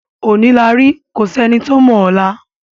Òní la rí kò sí ẹni tó mọ ọ̀la.